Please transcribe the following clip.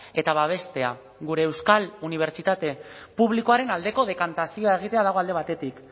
eta babestea gure euskal unibertsitate publikoaren aldeko dekantazio bat egitea dago alde batetik